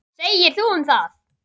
Hvað segirðu um það?